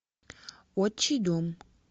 отчий дом